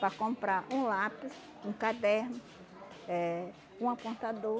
Para comprar um lápis, um caderno, eh um apontador.